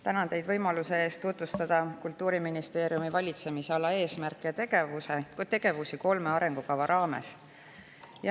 Tänan teid võimaluse eest tutvustada Kultuuriministeeriumi valitsemisala eesmärke ja tegevusi kolme arengukava raames.